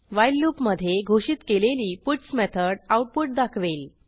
while लूपमधे घोषित केलेली पट्स मेथड आऊटपुट दाखवेल